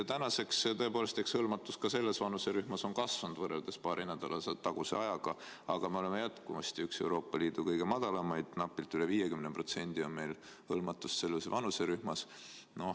Tänaseks, tõepoolest, on hõlmatus ka selles vanuserühmas kasvanud võrreldes paari nädala taguse ajaga, aga me oleme selles jätkuvasti Euroopa Liidu kõige kehvemaid: napilt üle 50% on meil hõlmatust selles vanuserühmas.